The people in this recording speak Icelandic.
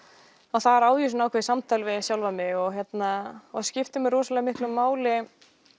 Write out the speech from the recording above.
þar á ég ákveðið samtal við sjálfa mig og það skiptir mig rosalega miklu máli